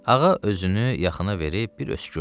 Ağa özünü yaxına verib bir öskürdü.